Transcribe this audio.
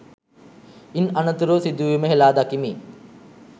ඉන් අනතුරුව සිදුවීම හෙලා දකිමි